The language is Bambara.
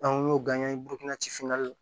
An y'o an ye burukina ci finan la